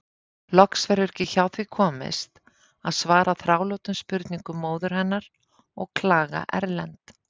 Loks verður ekki hjá því komist að svara þrálátum spurningum móður hennar og klaga Erlend.